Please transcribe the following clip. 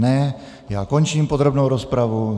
Ne, já končím podrobnou rozpravu.